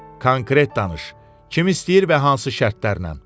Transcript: Konkret danış, kimi istəyir və hansı şərtlərlə?